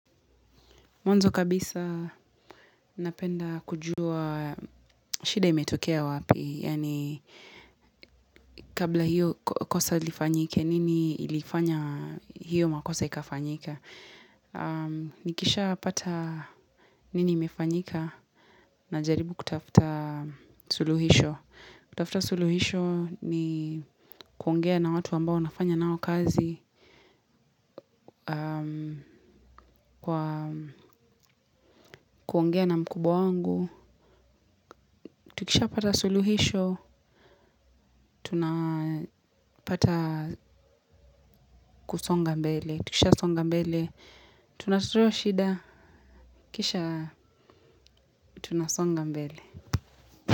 Mwanzo kabisa napenda kujua shida imetokea wapi, yaani kabla hiyo kosa ilifanyike, nini ilifanya hiyo makosa ikafanyika. Nikishapata nini imefanyika najaribu kutafuta suluhisho. Kutafuta suluhisho ni kuongea na watu ambao nafanya nao kazi, kuongea na mkubwa wangu. Tukishapata suluhisho, tunapata kusonga mbele. Tukishasonga mbele, tunazoa shida, kisha tunasonga mbele.